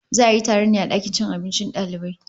Za a yi taron ne a dakin cin abincin dalibai